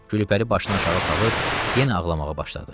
Gülpəri başını aşağı salıb, yenə ağlamağa başladı.